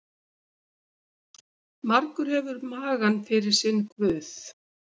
Margur hefur magann fyrir sinn guð.